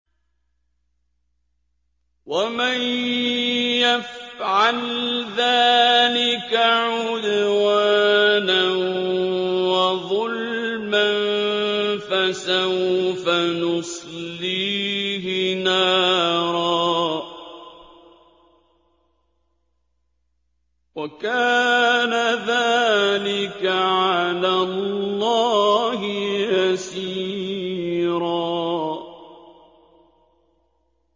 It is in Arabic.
وَمَن يَفْعَلْ ذَٰلِكَ عُدْوَانًا وَظُلْمًا فَسَوْفَ نُصْلِيهِ نَارًا ۚ وَكَانَ ذَٰلِكَ عَلَى اللَّهِ يَسِيرًا